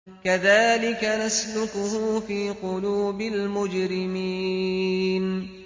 كَذَٰلِكَ نَسْلُكُهُ فِي قُلُوبِ الْمُجْرِمِينَ